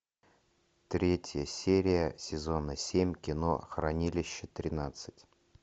третья серия сезона семь кино хранилище тринадцать